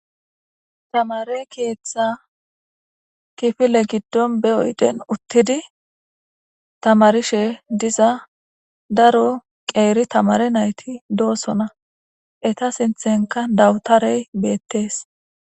Taamere keetha giddon be oydden uttidi tamarishe diza daro qeeri tamare naytti de7osonna. Eeta sinththenikka dawutaarey betteesi.